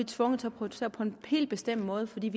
tvunget til at producere på en helt bestemt måde fordi